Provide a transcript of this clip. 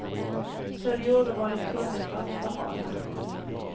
Så de gjorde vad de kunde för att förhala.